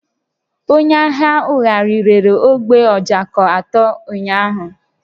Onye ahịa ṅṅụgharị rere ogbe ojoko atọ ụnyaahụ